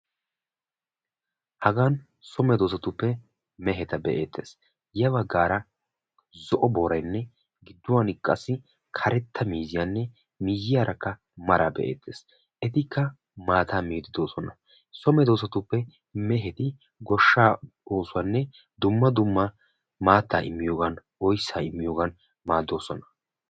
Hagan so meedosatuppe meheta be'ettees. Ya baggaara. Zo'o booraynne gidduwan qassi karetta miiziyanne miyyiyaarakka maraa be"ettees. Etikka maata miide doosona. So meddosatuppe goshsha oosuwa dumma dumma maatta immiyoogan oyssa immiyooga .eretoosona